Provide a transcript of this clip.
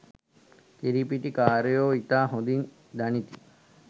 කිරි පිටි කාරයෝ ඉතා හොඳින් දනිති